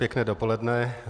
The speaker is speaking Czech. Pěkné dopoledne.